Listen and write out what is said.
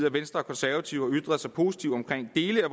at venstre og konservative har ytret sig positivt omkring dele